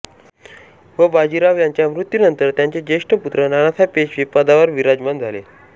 व बाजीराव यांच्या मृत्यूनंतर त्यांचे ज्येष्ठ पुत्र नानासाहेब पेशवे पदावर विराजमान झाले